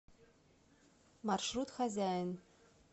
маршрут хозяин